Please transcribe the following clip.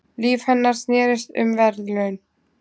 Líf hennar snerist um verðlaun.